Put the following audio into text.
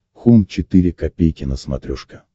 хоум четыре ка на смотрешке